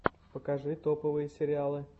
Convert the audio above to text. покажи топовые сериалы